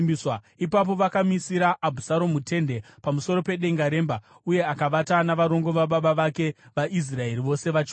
Ipapo vakamisira Abhusaromu tende pamusoro pedenga remba, uye akavata navarongo vababa vake vaIsraeri vose vachiona.